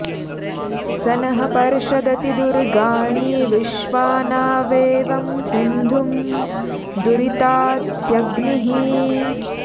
स नः पर्षदति दुर्गाणि विश्वा नावेवं सिन्धुं दुरितात्यग्निः